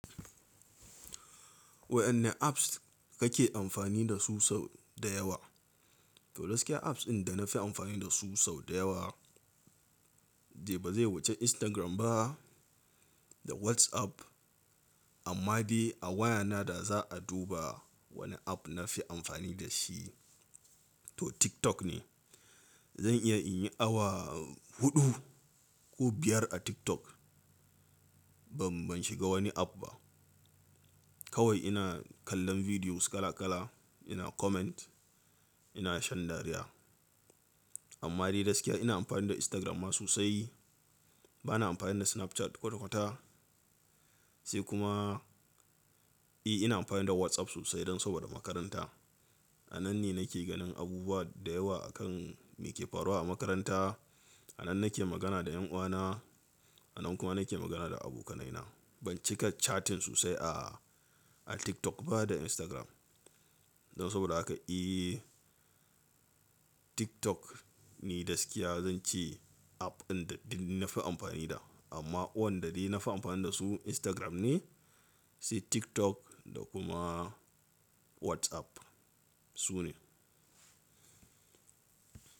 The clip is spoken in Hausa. Waɗanne apps kake amfani da su sau da yawa? To gaskiya apps ɗin da na fi amfani da su sau da yawa, dai ba zai wuce Instagram ba da WhatsApp. Amma dai a wayana da za a duba wane app na fi amfani da shi to TikTok ne. Zan iya in yi awa huɗu ko biyar a TikTok. Ban shiga wani app ba. Kawai ina kallon videos kala kala, ina comment, ina shan dariya. Amma dai gaskiya ina amfani da Instagram ma sosai. Ba na amfani da Snapchat kwata kwata. Sai kuma, eh ina amfani da WhatsApp sosai don saboda makaranta. A nan ne nake ganin abubuwa da yawa akan me ke faruwa a makaranta. A nan nake magana da yan uwana, a nan kuma nake magana da abokanaina. Ban cika chatting sosai a TikTok ba da Instagram. Don saboda haka, eh TikTok ne gaskiya zan ce app ɗin da nafi amfani da. Amma waɗanda dai na fi amfani da su Instagram ne, sai TikTok da kuma WhatsApp. Su ne.